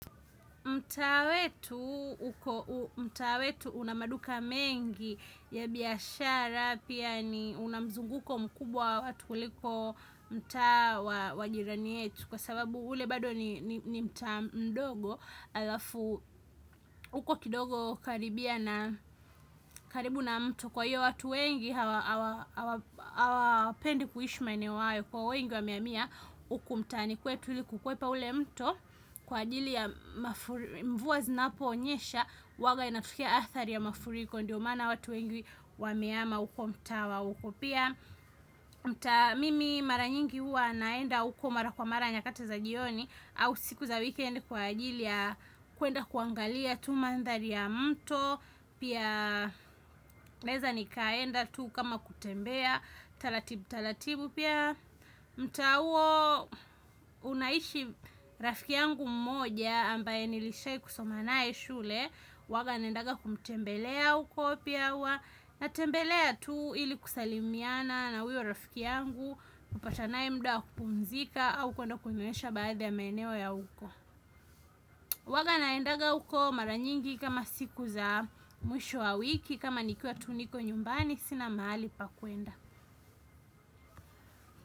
Mtaa wetu una maduka mengi ya biashara, pia ni una mzunguko mkubwa wa watu kuliko mtaa wa jirani wetu kwa sababu ule bado ni mtaa mdogo, alafu uko kidogo hukaribia na karibu na mtu kwa hiyo watu wengi hawapendi kuishi maeneo hayo kwa wengi wamehamia uku mtaani kwetu ili kukwepa ule mto kwa ajili ya mvua zinaponyesha huwaga inatokea athari ya mafuriko ndio maana watu wengi wamehama huko mtaa wa uko pia mtaa mimi mara nyingi huwa naenda huko mara kwa mara nyakati za jioni au siku za weekend kwa ajili ya kuenda kuangalia tu mandhari ya mto pia naeza nikaenda tu kama kutembea taratibu taratibu pia mtaa huo unaishi rafiki yangu mmoja ambaye nilishai kusoma naye shule huwaga naendaga kumtembelea uko pia huwa natembelea tu ili kusalimiana na uyo rafiki yangu kupatana naye mda wa kupumzika au kwenda kunionyesha baadhi ya maeneo ya uko huwaga naendaga uko mara nyingi kama siku za mwisho wa wiki kama nikiwa tu niko nyumbani sina mahali pa kuenda.